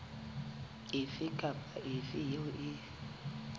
efe kapa efe eo e